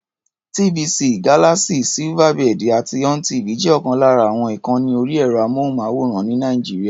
TVC, Galaxy, Silverbird àti ONTV jẹ́ ọ̀kan lára àwọn ìkànni orí ẹ̀rọ-amóhùnmáwòrán ní Nàìjíríà.